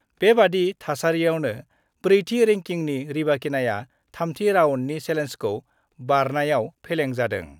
बेबादि थासारिआवनो ब्रैथि रेंकिंनि रिबाकिनाआ थामथि राउन्डनि सेलेन्जखौ बारनायाव फेलें जादों।